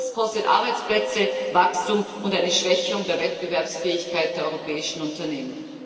Und das kostet Arbeitsplätze und Wachstum und bedeutet eine Schwächung der Wettbewerbsfähigkeit der europäischen Unternehmen.